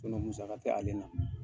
Musaka tɛ ale la.